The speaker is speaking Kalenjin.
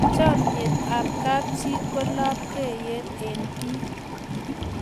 chamiet ab kap chi ko labkei eng bik